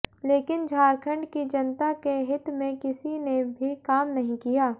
लेकिन झारखंड की जनता के हित में किसी ने भी काम नहीं किया